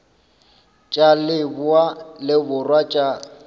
tša leboa le borwa tša